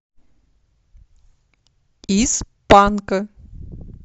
из панка